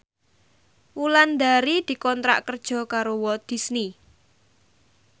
Wulandari dikontrak kerja karo Walt Disney